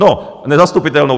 No, nezastupitelnou.